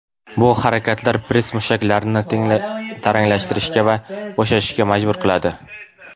Bu harakatlar press mushaklarini taranglashishga va bo‘shashishga majbur qiladi.